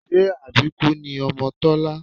Ṣé àbíkú ni ọmọ Tọ́lá?